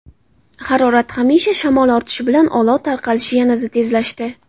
Harorat hamda shamol ortishi bilan olov tarqalishi yanada tezlashdi.